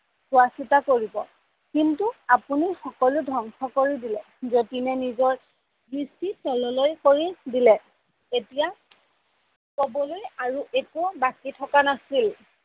চোৱা চিতা কৰিব কিন্তু আপোনি সকলো ধ্বংস কৰি দিলে, জতিনে নিজৰ দৃস্তি তলেলৈ কৰি দিলে, এতিয়া কবলৈ একো বাকী থকা নাছিল